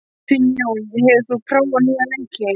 Finnjón, hefur þú prófað nýja leikinn?